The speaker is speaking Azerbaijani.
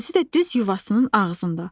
Özü də düz yuvasının ağzında.